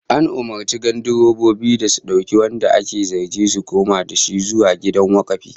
An umurci gandirobobin da su dauki wanda ake zargin su koma da shi zuwa gidan wakafi